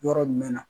Yɔrɔ jumɛn na